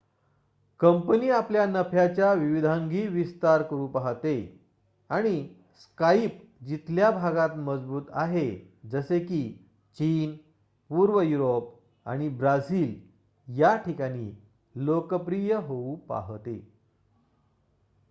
company आपल्या नफ्याच्या विविधांगी विस्तार करू पाहते आणि स्काईप जिथल्या भागात मजबूत आहे जसे की चीन पूर्व युरोप आणि ब्राझील या ठिकाणी लोकप्रिय होऊ पाहते